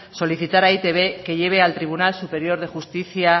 solicitar a e i te be que lleve al tribunal superior de justicia